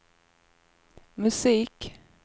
musik